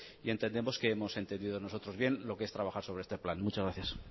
y entendemos que hemos entendido nosotros bien lo que es trabajar sobre este plan muchas gracias